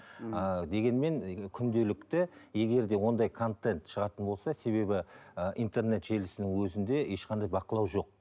ммм ыыы дегенмен күнделікті егер де ондай контент шығатын болса себебі ыыы интернет желісінің өзінде ешқандай бақылау жоқ